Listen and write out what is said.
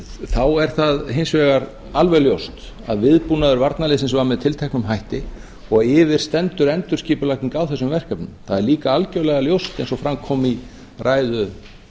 þá er það hins vegar alveg ljóst að viðbúnaður varnarliðsins var með tilteknum hætti og yfir stendur endurskipulagning á þessum verkefnum það er líka algjörlega ljóst eins og fram kom í ræðu